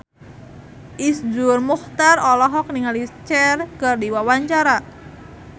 Iszur Muchtar olohok ningali Cher keur diwawancara